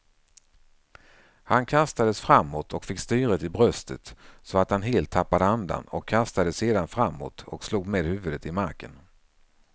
Han kastades framåt och fick styret i bröstet så att han helt tappade andan och kastades sedan framåt och slog med huvudet i marken.